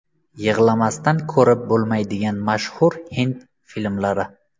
Yig‘lamasdan ko‘rib bo‘lmaydigan mashhur hind filmlari.